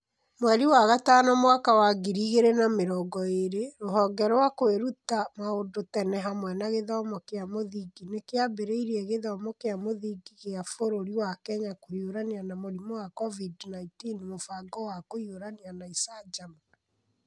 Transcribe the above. Mweri wa gatano mwaka wa ngiri igĩrĩ na mĩrongo ĩĩrĩ, Rũhonge rwa Kwĩruta Maũndũ Tene hamwe na Gĩthomo kĩa Mũthingi nĩ kĩambĩrĩirie Gĩthomo kĩa Mũthingi gĩa Bũrũri wa Kenya kũhiũrania na mũrimũ wa COVID-19 Mũbango wa Kũhiũrania na Icanjama